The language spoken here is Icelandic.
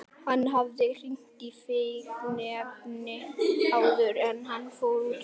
Hann hafði hringt í fíkniefnadeildina áður en hann fór út.